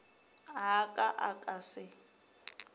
a ka a ka se